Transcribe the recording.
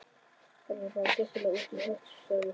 Þetta er bara svo gjörsamlega út í hött sagði Svein